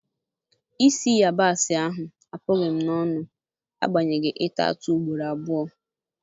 Isi yabasi ahụ apụghị m n'onu na agbanyeghị ịta atụ ugboro abụọ